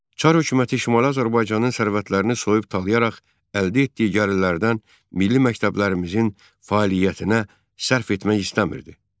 Çar hökuməti Şimali Azərbaycanın sərvətlərini soyub talayaraq əldə etdiyi gəlirlərdən milli məktəblərimizin fəaliyyətinə sərf etmək istəmirdi.